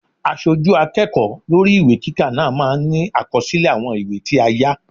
Aṣojú akẹ́kọ̀ọ́ lórí ìwé kíkà náà máa ní àkọsílẹ̀ àwọn ìwé tí a yá.